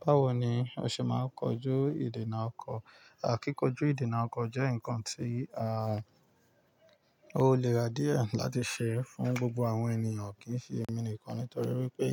Báwo ni o ṣe máa ń kojú ìdènà ọkọ? Kíkojú ìdènà ọkọ jẹ́ nǹkan tí a ò le rà díẹ̀ láti ṣe fún gbogbo àwọn ènìyàn, kì í sì ẹmi nìkan nítorí wípé